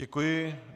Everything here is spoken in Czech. Děkuji.